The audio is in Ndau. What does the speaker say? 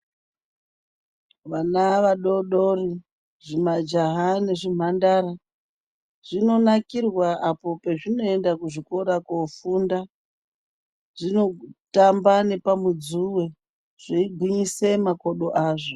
Vana vadoodori, zvimajaha nezvimhandara, zvinonakirwa apo pazvinoenda kuzvikora koofunda. Zvinotamba nepamudzuwe, zveigwinyise makodo azvo.